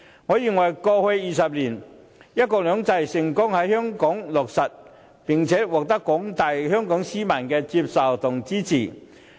我認為過去20年，"一國兩制"成功在香港落實，並且獲得廣大香港市民接受和支持。